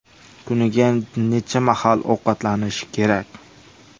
Kuniga necha mahal ovqatlanish kerak?.